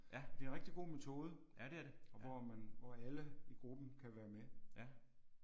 Det er en rigtig god metode hvor man hvor alle i gruppen kan være med